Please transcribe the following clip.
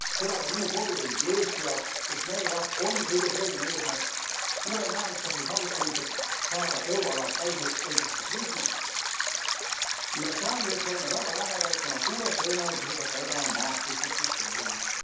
Seda ka minu koduriigi Eesti jaoks, sest meie jaoks on kõige selgem eesmärk uue majanduskasvu saavutamiseks saada euroala täieõiguslikuks liikmeks, millele oleme väga lähedal, kuna suure tõenäosusega täidame Maastrichti kriteeriumid.